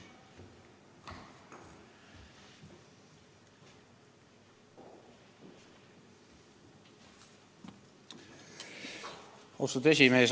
Austatud esimees!